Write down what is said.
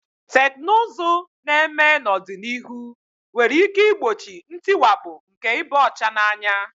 Teknụzụ na-eme n'ọdịnihu nwere ike igbochi ntiwapụ nke ịba ọcha n'anya.